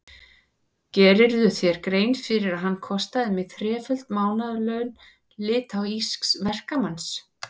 Gerirðu þér grein fyrir að hann kostaði mig þreföld mánaðarlaun litháísks verkamanns?